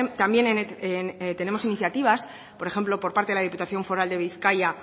también tenemos iniciativas por ejemplo por parte de la diputación foral de bizkaia